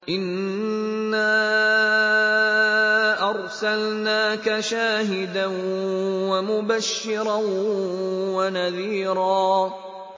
إِنَّا أَرْسَلْنَاكَ شَاهِدًا وَمُبَشِّرًا وَنَذِيرًا